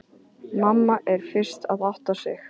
Mamma er fyrst að átta sig: